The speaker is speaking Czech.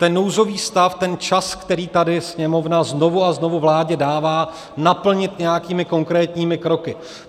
Ten nouzový stav, ten čas, který tady Sněmovna znovu a znovu vládě dává, naplnit nějakými konkrétními kroky.